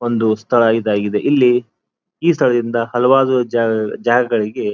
ಒಂದು ಸ್ಥಳ ಇದಾಗಿದೆ ಇಲ್ಲಿ ಈ ಸ್ಥಳಗಳಿಂದ ಹಲವಾರು ಜಾಗಗಳಿಗೆ --